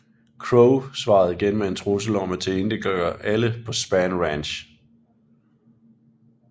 Crowe svarede igen med en trussel om at tilintetgøre alle på Spahn Ranch